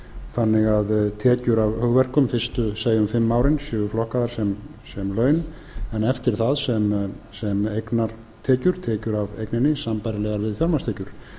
þannig að tekjur af hugverkum fyrstu segjum fimm árin séu flokkaðar sem laun en eftir það sem eignartekjur tekjur af eigninni sambærilegar við fjármagnstekjur